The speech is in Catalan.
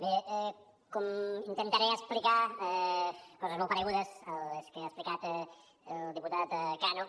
bé intentaré explicar coses molt paregudes a les que ha explicat el diputat cano